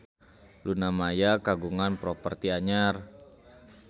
Luna Maya kagungan properti anyar